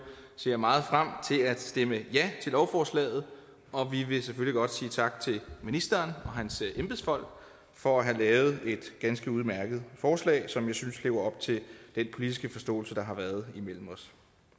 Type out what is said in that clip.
ser meget frem til at stemme ja til lovforslaget og vi vil selvfølgelig godt sige tak til ministeren og hans embedsfolk for at have lavet et ganske udmærket forslag som jeg synes lever op til den politiske forståelse der har været imellem os